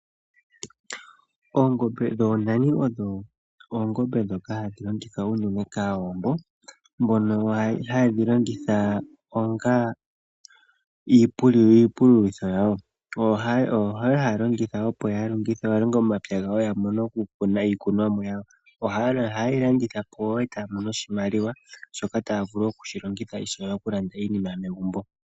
Oongombe dhoonani odho oongombe dhoka hadhi longithwa unene kAawambo. Mbono haye dhi longitha onga iipululitho yawo, ohaye dhi longitha opo ya longe omapya gawo ya mone okukuna iikunomwa yawo. Ohaye dhi landitha po wo e taa mono oshimaliwa, shoka taa vulu okushi longitha ishewe okulanda iinima megumbo.